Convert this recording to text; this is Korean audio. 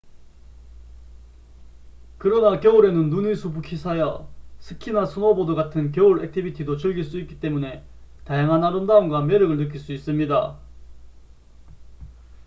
그러나 겨울에는 눈이 수북히 쌓여 스키나 스노보드 같은 겨울 액티비티도 즐길 수 있기 때문에 다양한 아름다움과 매력을 느낄 수 있습니다